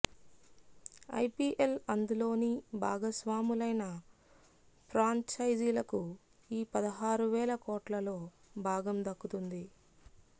IPL అందులోని భాగస్వాములైన ఫ్రాంచైజీలకు ఈ పదహారువేల కోట్లలో భాగం దక్కుతుంది